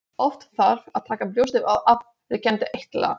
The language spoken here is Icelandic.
Oft þarf að taka brjóstið og aðliggjandi eitla.